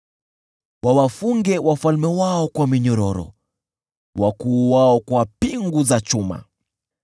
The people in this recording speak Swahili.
wawafunge wafalme wao kwa minyororo, wakuu wao kwa pingu za chuma,